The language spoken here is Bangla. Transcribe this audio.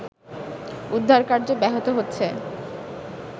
উদ্ধারকার্য ব্যাহত হচ্ছে